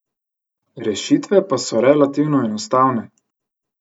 Rešitve pa so relativno enostavne.